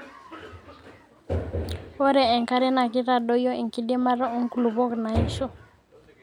ore enkare naa keitadoyio enkidimata oo nkulupok naaisho